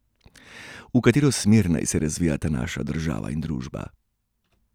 V katero smer naj se razvijeta naša država in družba?